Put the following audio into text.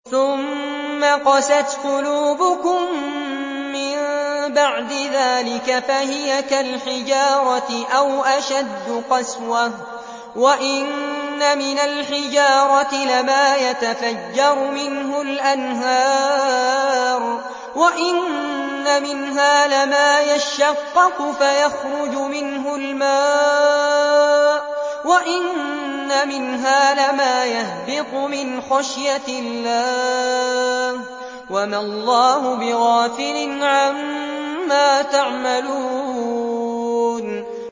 ثُمَّ قَسَتْ قُلُوبُكُم مِّن بَعْدِ ذَٰلِكَ فَهِيَ كَالْحِجَارَةِ أَوْ أَشَدُّ قَسْوَةً ۚ وَإِنَّ مِنَ الْحِجَارَةِ لَمَا يَتَفَجَّرُ مِنْهُ الْأَنْهَارُ ۚ وَإِنَّ مِنْهَا لَمَا يَشَّقَّقُ فَيَخْرُجُ مِنْهُ الْمَاءُ ۚ وَإِنَّ مِنْهَا لَمَا يَهْبِطُ مِنْ خَشْيَةِ اللَّهِ ۗ وَمَا اللَّهُ بِغَافِلٍ عَمَّا تَعْمَلُونَ